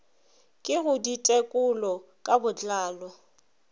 ke go ditekolo ka botlalo